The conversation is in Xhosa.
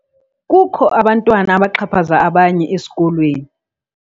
Kukho abantwana abaxhaphaza abanye esikolweni.